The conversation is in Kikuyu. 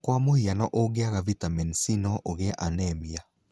Kwa mũhiano ũgĩanga vitamini C no ũgĩe anemia.